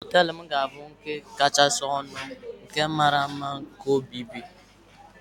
Hóteélụ̀ m ga-abụ nke kachasị ọnụ na nke mara mma na obodo